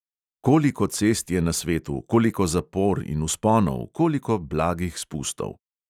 Koliko cest je na svetu, koliko zapor in vzponov, koliko blagih spustov.